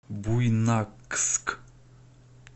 буйнакск